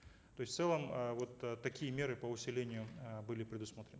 то есть в целом э вот такие меры по усилению э были предусмотрены